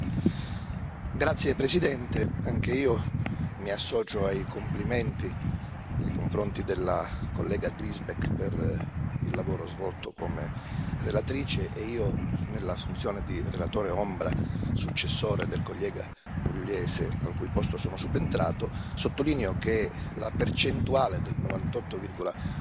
Signora Presidente, onorevoli colleghi, anch'io mi associo ai complimenti nei confronti della collega Griesbeck per il lavoro svolto come relatrice e io, nella funzione di relatore ombra, successore del collega pugliese, al cui posto sono subentrato, sottolineo che la percentuale del 98,9